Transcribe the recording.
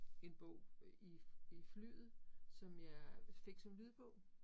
En bog i i flyet, som jeg fik som lydbog